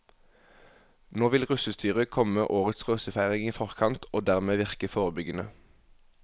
Nå vil russestyret komme årets russefeiring i forkant og dermed virke forebyggende.